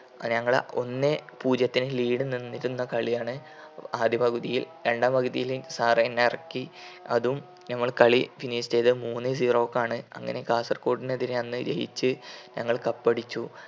പൊ ഞങ്ങൾ ഒന്നേ പൂജ്യത്തിന് lead നിന്നിരുന്ന കളിയാണ് ആദ്യ പകുതിയിൽ രണ്ടാം പകുതിയിൽ sir എന്നെറക്കി അതും നമ്മൾ കളി finish ചെയ്തത് മൂന്നേ zero ക്കാണ് അങ്ങനെ കാസർകോടിനെതിരെ ജയിച് ഞങ്ങൾ cup അടിച്ചു.